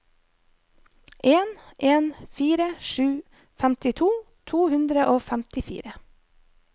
en en fire sju femtito to hundre og femtifire